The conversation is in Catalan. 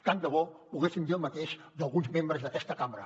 tant de bo poguéssim dir el mateix d’alguns membres d’aquesta cambra